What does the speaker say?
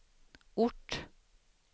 ort